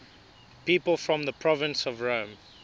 people from the province of rome